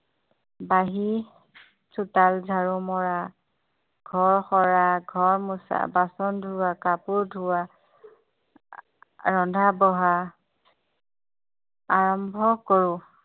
বাহি চোতাল ঝাৰু মৰা ঘৰ সৰা ঘৰ মোচা বাচন ধোৱা কাপোৰ ধোৱা ৰন্ধা-বঢ়া আৰম্ভ কৰোঁ